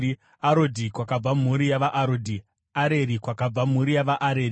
Arodhi, kwakabva mhuri yavaArodhi; Areri kwakabva mhuri yavaAreri.